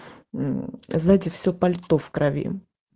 мм знаете все пальто в крови